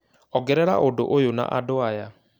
ongerera ũndũ ũyũ na andũ aya